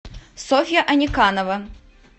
софья аниканова